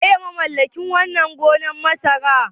Waye mamallakin wannan gonar masarar?